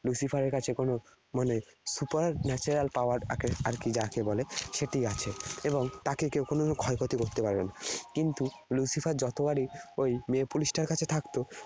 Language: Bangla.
Lucifer এর কাছে কোন মানে supernatural power আর কি যাকে বলে সেটি আছে। এবং তাকে কেউ কোনদিন ক্ষয়ক্ষতি করতে পারবে না। কিন্তু Lucifer যতবারই ওই মেয়ে police টার কাছে থাকত